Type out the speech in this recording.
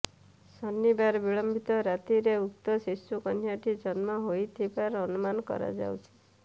ଶନିବାର ବିଳମ୍ବିତ ରାତିରେ ଉକ୍ତ ଶିଶୁ କନ୍ୟାଟି ଜନ୍ମ ହୋଇଥିବାର ଅନୁମାନ କରାଯାଉଛି